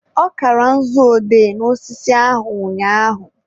ọ kara nzu odee n'osisi ahụ ụnyaahụ